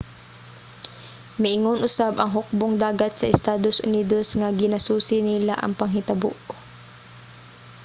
miingon usab ang hukbong-dagat sa estados unidos nga ginasusi nila ang panghitabo